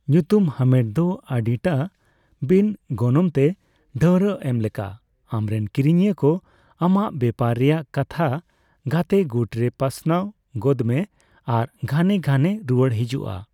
ᱧᱩᱛᱩᱢ ᱦᱟᱢᱮᱴ ᱫᱚ ᱟᱹᱰᱤᱴᱟ ᱵᱤᱱᱼᱜᱚᱱᱚᱝᱛᱮ ᱰᱷᱟᱹᱣᱨᱟᱜ ᱮᱢ ᱞᱮᱠᱟ, ᱟᱢᱨᱮᱱ ᱠᱤᱨᱤᱧᱤᱭᱟᱹ ᱠᱚ ᱟᱢᱟᱜ ᱵᱮᱯᱟᱨ ᱨᱮᱭᱟᱜ ᱠᱟᱛᱷᱟ ᱜᱟᱛᱮ ᱜᱩᱴᱨᱮ ᱯᱟᱥᱱᱟᱣ ᱜᱚᱫᱢᱮ ᱟᱨ ᱜᱷᱟᱱᱮ ᱜᱷᱟᱱᱮ ᱨᱩᱣᱟᱹᱲ ᱦᱤᱡᱩᱜᱼᱟ ᱾